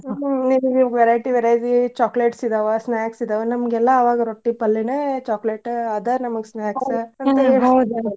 ಹ್ಮ್ ನಿಮ್ಗ ಈಗ variety variety chocolates ಇದಾವ snacks ಇದಾವ ನಮ್ಗ ಎಲ್ಲಾ ಅವಾಗ ರೊಟ್ಟಿ, ಪಲ್ಲೆನ chocolate ಅದ ನಮಗ .